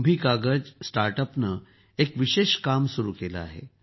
कुंभी कागज स्टार्ट अपने एक विशेष काम सुरू केलं आहे